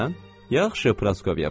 Yaxşı, Praskovya, bax.